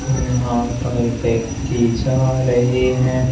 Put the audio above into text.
यहां पर व्यक्ति जा रहे हैं।